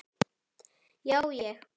Já, ég.